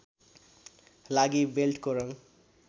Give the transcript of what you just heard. लागि बेल्टको रङ